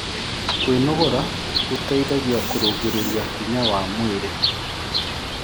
Kwĩnogora gũteĩthagĩa kũrũngĩrĩrĩa hinya wa mwĩrĩ